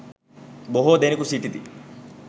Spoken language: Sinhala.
බොහෝ දෙනෙකු සිටිති.